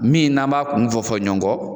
Min n'an m'a kun fɔ fɔ ɲɔgɔn